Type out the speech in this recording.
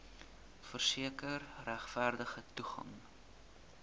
verseker regverdige toegang